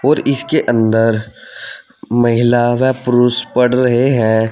और इसके अंदर महिला व पुरुष पढ़ रहे हैं।